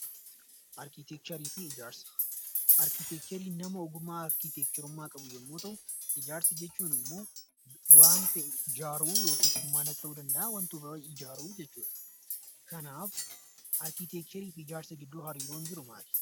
Arkiteekchariin nama ogummaa arkiteekcharummaa qabu yommuu ta'u, ijaarsa jechuun immoo waan ta'e ijaaruu yookiis manas ta'uu danda'a waanta biraa ijaaruu jechuudha. Kanaaf arkiteekcharii fi ijaarsa gidduu hariiroon jiru maaali?